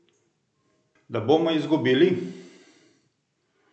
Da bomo izgubili?